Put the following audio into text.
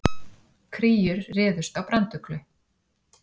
Kríur réðust á branduglu